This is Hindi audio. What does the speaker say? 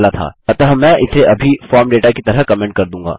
अतः मैं इसे अभी फॉर्म दाता की तरह कमेन्ट कर दूँगा